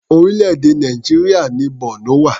Orílẹ̀-èdè Nàìjíríà ni Borno wà.